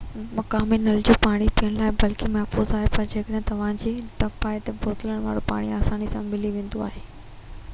مقامي نل جو پاڻي پيئڻ جي لاءِ بلڪل محفوظ آهي پر جيڪڏهن توهان کي ڊپ آهي تہ بوتل وارو پاڻي آساني سان ملي ويندو آهي